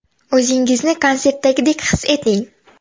O‘zingizni konsertdagidek his eting!